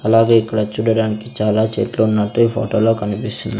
అలాగే ఇక్కడ చూడడానికి చాలా చెట్లు ఉన్నట్టు ఈ ఫోటో లో కనిపిస్తుం--